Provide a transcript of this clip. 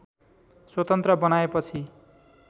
स्वतन्त्र बनाएपछि